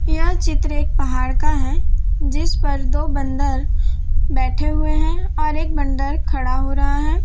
यह चित्र एक पहाड़ का है जिस पर दो बंदर बैठे हुए हैं और एक बंदर खड़ा हो रहा है।